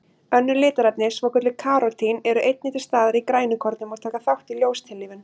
Önnur litarefni, svokölluð karótín, eru einnig til staðar í grænukornum og taka þátt í ljóstillífun.